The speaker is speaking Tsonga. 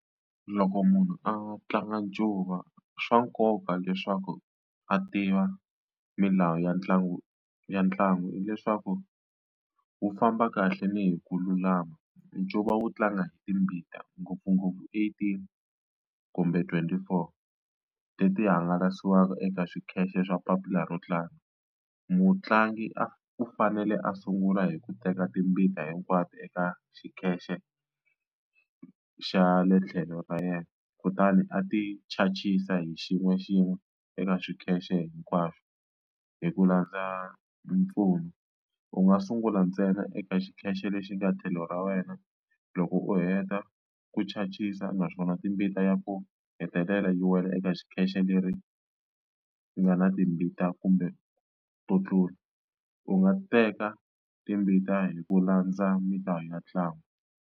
Loko munhu a tlanga ncuva swa nkoka leswaku a tiva milawu ya ntlangu ya ntlangu hileswaku wu famba kahle ni hi ku lulama ncuva wu tlanga hi timbita ngopfungopfu eighteen kumbe twenty four leti hangalasiwaka eka xikhale swa papila ro tlanga mutlangi a u fanele a sungula hi ku teka timbita hinkwato eka xikhale xa le tlhelo ra yena kutani a ti chances hi xin'we xin'we eka xikeche hinkwaxo hi ku landza mpfuno u nga sungula ntsena eka xikeche lexi ka tlhelo ra wena loko u heta ku chajisa naswona timbita ya ku hetelela yi wela eka xikeche leri nga na timbita kumbe to tlula u nga teka timbita hi ku landza milawu ya ntlangu.